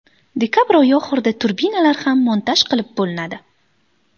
Dekabr oyi oxirida turbinalar ham montaj qilib bo‘linadi.